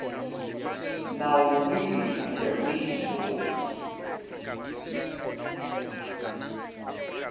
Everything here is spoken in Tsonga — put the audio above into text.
nawu wihi kumbe wihi lowu